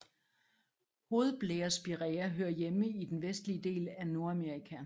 Hovedblærespiræa hører hjemme i den vestlige del af Nordamerika